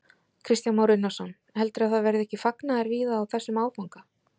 Kristján Már Unnarsson: Heldurðu að það verði ekki fagnaður víða á þessum áfanga?